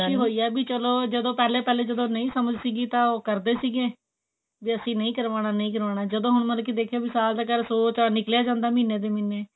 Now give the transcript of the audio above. ਖ਼ੁਸ਼ੀ ਹੋਈ ਵੀ ਚਲੋ ਪਹਿਲੇ ਪਹਿਲੇ ਜਦੋਂ ਨਹੀਂ ਸਮਝ ਸੀ ਤਾਂ ਉਹ ਕਰਦੇ ਸੀ ਵੀ ਅਸੀਂ ਨਹੀਂ ਕਰਵਾਉਣਾ ਨਹੀਂ ਕਰਵਾਉਣਾ ਜਦੋਂ ਹੁਣ ਮਤਲਬ ਕਿ ਦੇਖਿਆ ਵੀ ਸਾਲ ਦਾ ਚਲ ਸੋ ਤਾਂ ਨਿਕਲਿਆ ਜਾਂਦਾ ਮਹੀਨੇ ਦੀ ਮਹੀਨੇ